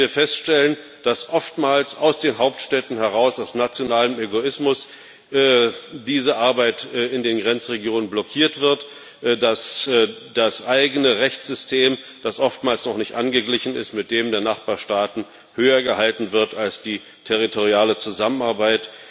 Leider müssen wir feststellen, dass oftmals aus den Hauptstädten heraus, aus nationalem Egoismus, diese Arbeit in den Grenzregionen blockiert wird, dass das eigene Rechtssystem, das oftmals noch nicht an das der Nachbarstaaten angeglichen ist, höher gehalten wird als die territoriale Zusammenarbeit.